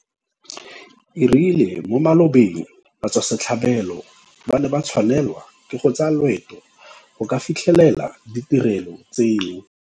O rile mo malobeng batswasetlhabelo ba ne ba tshwanelwa ke go tsaya loeto go ka fitlhelela ditirelo tseno.